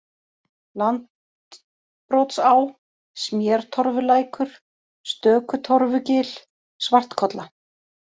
Landbrotsá, Smértorfulækur, Stökutorfugil, Svartkolla